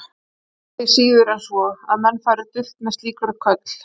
Það var því síður en svo, að menn færu dult með slík köll.